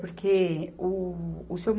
Porque o, o Seu